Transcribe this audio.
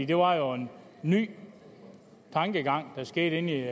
det var jo en ny tankegang der skete inde